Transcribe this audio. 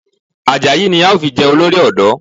Àjàyí ni a ó fi jẹ olórí ọ̀dọ́